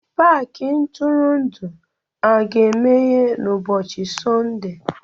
Paakị ntụrụndụ a ga-emeghe n'ụbọchi Sọnde?